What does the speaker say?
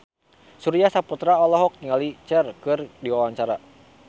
Surya Saputra olohok ningali Cher keur diwawancara